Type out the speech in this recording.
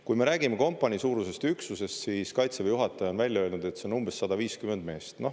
Kui me räägime kompanii suurusest üksusest, siis Kaitseväe juhataja on välja öelnud, et see on umbes 150 meest.